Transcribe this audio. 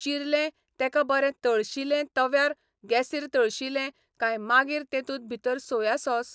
चिरले तेका बरें तळशिलें तव्यार गेसीर तळशिलें कांय मागीर तेतूंत भितर सोया साॅस